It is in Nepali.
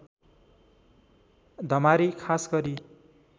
धमारी खास गरी